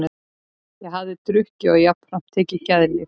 Ég hafði drukkið og jafnframt tekið geðlyf.